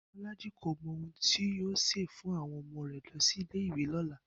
Bó̩lájí kò mo̩ ohun tí yóò sè fún àwo̩n o̩mo̩ rè̩ lo̩ sí ilé ìwé ló̩la